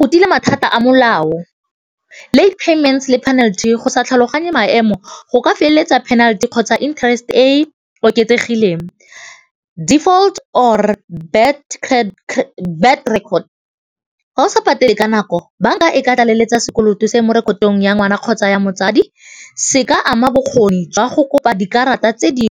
Go tila mathata a molao, late payments le penalty, go sa tlhaloganye maemo go ka go penalty kgotsa interest e e oketsegileng. Default or bad record, ga o sa patele ka nako banka e ka tlaleletsa sekoloto se mo rekotong ya ngwana kgotsa ya motsadi se ka ama bokgoni jwa go kopa dikarata tse .